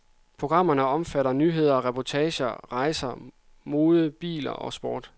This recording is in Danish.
Programmerne omfatter nyheder, reportager om rejser, mode, biler og sport.